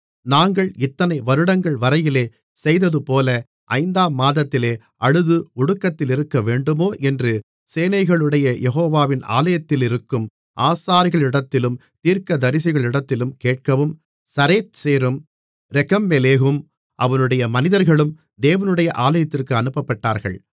நாங்கள் இத்தனை வருடங்கள்வரையிலே செய்ததுபோல ஐந்தாம் மாதத்திலே அழுது ஒடுக்கத்திலிருக்கவேண்டுமோ என்று சேனைகளுடைய யெகோவாவின் ஆலயத்திலிருக்கும் ஆசாரியர்களிடத்திலும் தீர்க்கதரிசிகளிடத்திலும் கேட்கவும் சரேத்சேரும் ரெகெம்மெலேகும் அவனுடைய மனிதர்களும் தேவனுடைய ஆலயத்திற்கு அனுப்பப்பட்டார்கள்